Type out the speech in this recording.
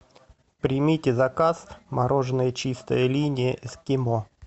примите заказ мороженое чистая линия эскимо